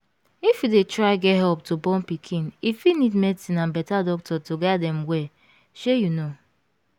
if you dey try get help to born pikin e fit need medicine and better doctor to guide em well shey you know